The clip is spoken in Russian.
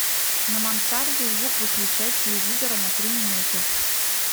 на мансарде звук выключай телевизора на три минуты